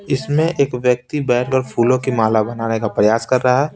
इसमें एक व्यक्ति बैठकर फूलों की माला बनाने का प्रयास कर रहा है।